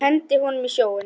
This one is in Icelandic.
Henda honum í sjóinn!